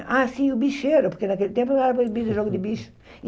Ah, sim, o bicheiro, porque naquele tempo não era proibido o jogo do bicho.